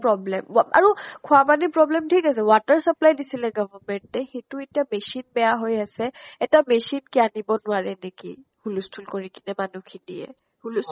problem ৱা আৰু খোৱা পানীৰ problem ঠিক আছে, water supply দিছিলে ত government এ, সেইটো এটা machine বেয়া হৈ আছে। এটা machine কি আনিব নোৱাৰে নেকি? হুলস্থুল কৰি মান্হু খিনিয়ে। হুলস্থুল